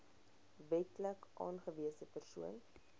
wetlik aangewese persoon